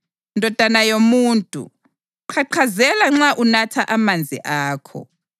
“Ndodana yomuntu, qhaqhazela nxa unatha amanzi akho.